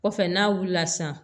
Kɔfɛ n'a wulila sisan